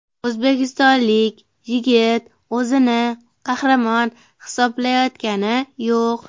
O‘zbekistonlik yigit o‘zini qahramon hisoblayotgani yo‘q.